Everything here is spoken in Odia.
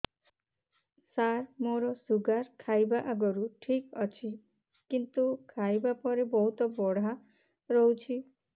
ସାର ମୋର ଶୁଗାର ଖାଇବା ଆଗରୁ ଠିକ ଅଛି କିନ୍ତୁ ଖାଇବା ପରେ ବହୁତ ବଢ଼ା ରହୁଛି